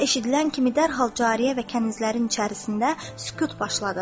Bu səs eşidilən kimi dərhal cariyə və kənizlərin içərisində sükut başladı.